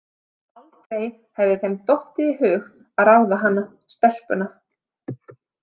Aldrei hefði þeim dottið í hug að ráða hana, stelpuna.